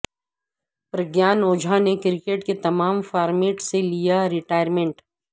پرگیان اوجھا نے کرکٹ کے تمام فارمیٹ سے لیا ریٹائرمنٹ